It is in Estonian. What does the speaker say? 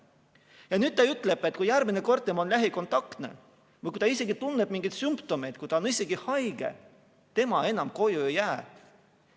Ja nüüd ta ütleb, et kui järgmine kord tema on lähikontaktne või kui ta isegi tunneb mingeid sümptomeid, kui ta on isegi haige, tema enam koju ei jää.